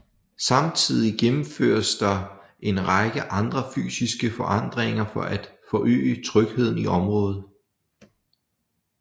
Samtidig gennemføres der en række andre fysiske forandringer for at forøge trygheden i området